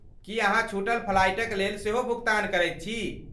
की अहाँ छूटल फ्लाइटक लेल सेहो भुगतान करैत छी?